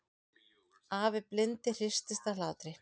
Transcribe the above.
Afi blindi hristist af hlátri.